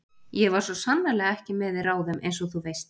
Ég var svo sannarlega ekki með í ráðum einsog þú veist.